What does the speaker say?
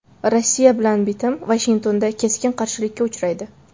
Rossiya bilan bitim Vashingtonda keskin qarshilikka uchraydi.